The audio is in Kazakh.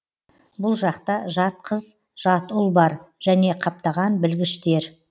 бұл жақта жат қыз жат ұл бар және қаптаған білгіштер